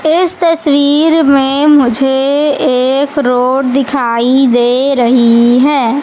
इस तस्वीर में मुझे एक रोड दिखाई दे रही है।